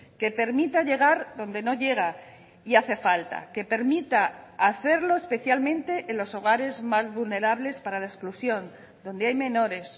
que permita llegar donde no llega y hace falta que permita hacerlo especialmente en los hogares más vulnerables para la exclusión donde hay menores